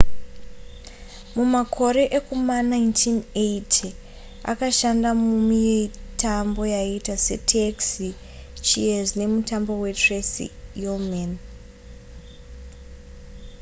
mumakore ekuma1980 akashanda mumitambo yakaita se taxi cheers nemutambo we tracy ullman